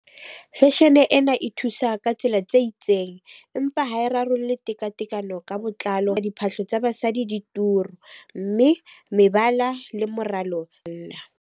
Fashion-e ena e thusa ka tsela tse itseng, empa ha e rarolle tekatekano ka botlalo. Diphahlo tsa basadi di turu, mme mebala le moralo .